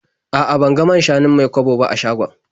A'a, ban ga man-shanun Mai-kwabo ba a shagon.